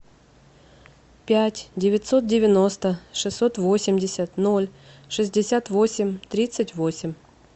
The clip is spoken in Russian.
пять девятьсот девяносто шестьсот восемьдесят ноль шестьдесят восемь тридцать восемь